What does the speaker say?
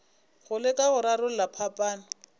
go leka go rarolla phapano